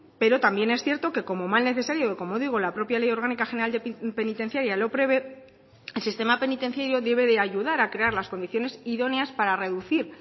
pero también es cierto que como mal necesario como digo la propia ley orgánica general penitenciaria lo prevé el sistema penitenciario debe de ayudar a crear las condiciones idóneas para reducir